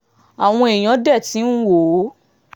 àwọn èèyàn dé tí ń wò ó